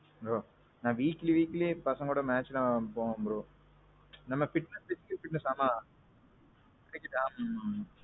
bro. நான் weekly weekly பசங்க கூட match விளையாட போவேன் bro. நம்ம pitch fixed pitch தான் ஆனான். cricket ஆட மாட்டாங்க.